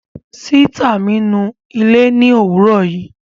Sìtá mi nu ilé ni òwúrò yìí